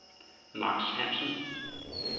Max Hansen